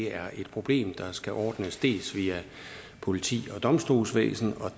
er et problem der skal ordnes dels via politi og domstolsvæsen